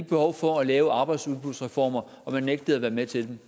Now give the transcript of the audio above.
behov for at lave arbejdsudbudsreformer og man nægtede at være med til det